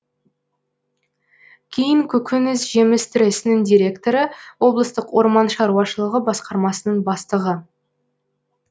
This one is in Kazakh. кейін көкөніс жеміс тресінің директоры облыстық орман шаруашылығы басқармасының бастығы